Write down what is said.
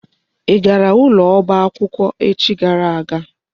Ị gara ụlọ ọba akwụkwọ echi gara aga?